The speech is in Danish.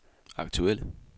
aktuelle